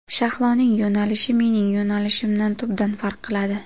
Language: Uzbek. Shahloning yo‘nalishi mening yo‘nalishimdan tubdan farq qiladi.